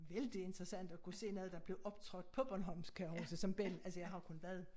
Vældig interessant at kunne se noget der blev optrådt på bornholmsk kan jeg huske som belli altså jeg har kun været